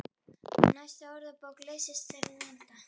Næsta orðabók leysir þann vanda.